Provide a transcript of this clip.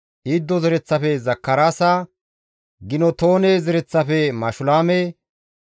Iddo zereththafe Zakaraasa, Gintoone zereththafe Mashulaame,